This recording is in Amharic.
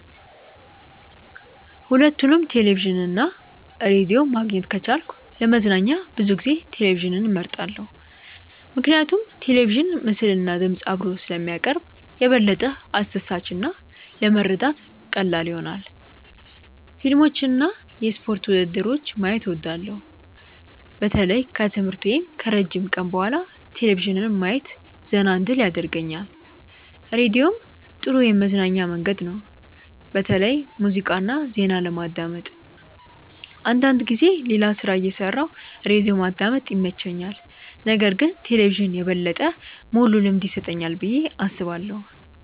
ሁለቱንም ቴሌቪዥን እና ራዲዮ ማግኘት ከቻልኩ ለመዝናኛ ብዙ ጊዜ ቴሌቪዥንን እመርጣለሁ። ምክንያቱም ቴሌቪዥን ምስልና ድምፅ አብሮ ስለሚያቀርብ የበለጠ አስደሳች እና ለመረዳት ቀላል ይሆናል። ፊልሞችን እና የስፖርት ውድድሮችን ማየት እወዳለሁ። በተለይ ከትምህርት ወይም ከረጅም ቀን በኋላ ቴሌቪዥን ማየት ዘና እንድል ያደርገኛል። ራዲዮም ጥሩ የመዝናኛ መንገድ ነው፣ በተለይ ሙዚቃ እና ዜና ለማዳመጥ። አንዳንድ ጊዜ ሌላ ሥራ እየሠራሁ ራዲዮ ማዳመጥ ይመቸኛል። ነገር ግን ቴሌቪዥን የበለጠ ሙሉ ልምድ ይሰጠኛል ብዬ አስባለሁ።